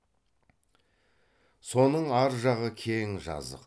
соның ар жағы кең жазық